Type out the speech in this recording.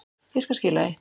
Ég skal skila því.